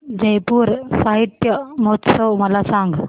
जयपुर साहित्य महोत्सव मला सांग